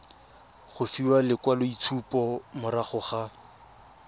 go fiwa lekwaloitshupo morago ga